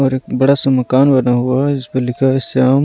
और एक बड़ा सा मकान बना हुआ है इस पर लिखा है इस्तेमाल।